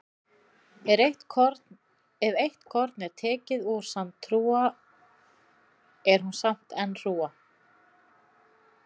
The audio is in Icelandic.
Ef eitt korn er tekið úr sandhrúga er hún samt enn hrúga.